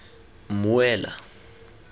mmuela